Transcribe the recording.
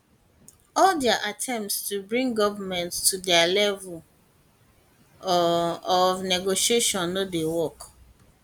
all dia attempts to bring goment to dia level um of negotiation no dey work